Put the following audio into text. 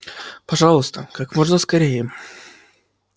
пожалуйста как можно скорее